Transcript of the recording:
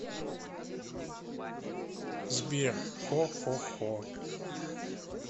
сбер хо хо хо